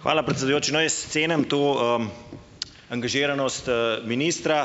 Hvala, predsedujoči. No, jaz cenim to, angažiranost, ministra.